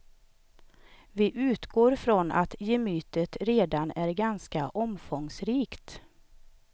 Vi utgår från att gemytet redan är ganska omfångsrikt.